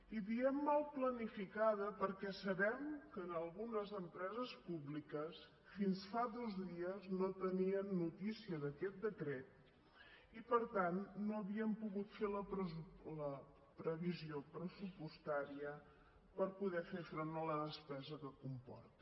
i diem mal planificada perquè sabem que en algunes empreses públiques fins fa dos dies no tenien notícia d’aquest decret i per tant no havien pogut fer la previsió pressupostària per poder fer front a la despesa que comporta